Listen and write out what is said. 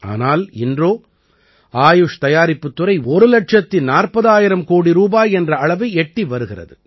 ஆனால் இன்றோ ஆயுஷ் தயாரிப்புத் துறை ஒரு இலட்சத்து நாற்பதாயிரம் கோடி ரூபாய் என்ற அளவை எட்டி வருகிறது